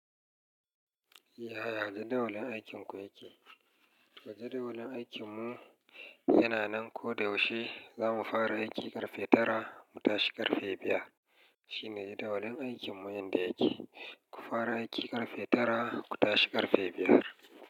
Ya ya jadawalin aikinku yake? Jadawalin aikinmu yana nan. Ko da yaushe za mu fara aiki ƙarfe tara mu tashi ƙarfe biyar. Shine jadawalin aikinmu yanda yake. Ku fara aiki ƙarfe tara ku tashi ƙarfe biyar.